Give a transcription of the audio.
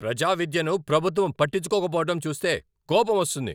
ప్రజా విద్యను ప్రభుత్వం పట్టించుకోకపోవడం చూస్తే కోపం వస్తుంది.